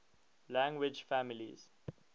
language families